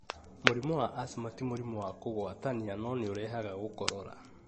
Mũrimũ wa asthma, ti mũrimũ wa kũgwatania no nĩũrehaga gũkorora